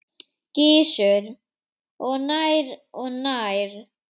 Gissur: Og nær og nær?